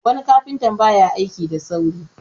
wani kafinta ba ya aiki da saurin